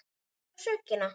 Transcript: Hver á sökina?